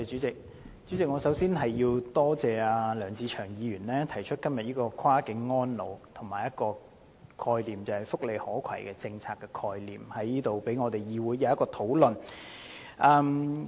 主席，我首先感謝梁志祥議員今天提出這項"跨境安老"議案及"福利可攜"的政策概念，讓本會可就此進行討論。